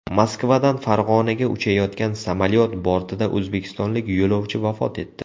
Moskvadan Farg‘onaga uchayotgan samolyot bortida o‘zbekistonlik yo‘lovchi vafot etdi.